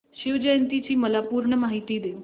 शिवजयंती ची मला पूर्ण माहिती दे